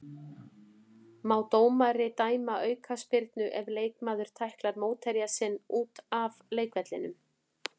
Má dómari dæma aukaspyrnu ef leikmaður tæklar mótherja sinn út af leikvellinum?